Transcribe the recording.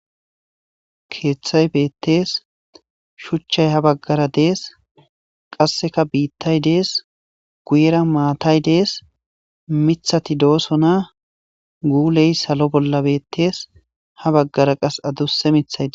Kethay betese shuchay ha bagara des qasekka bitay des guyera maatay Des mithati dosona guley salo bolla betese ha bagara qase adusa mithatay des